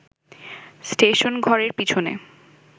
স্টেশনঘরের পিছনে